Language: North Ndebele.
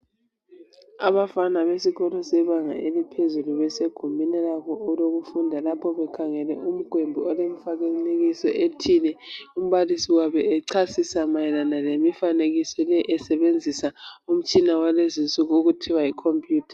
Abafana besikolo sebanga eliphezulu. Besegumbini labo lokufunda. Lapha bekhangele umgwembe, olemifanekiso ethile Umbalisi echasisa mayelana lemifanekiso le. Esebenzisa umtshiba wakulezi insuku, okuthiwa yicomputer.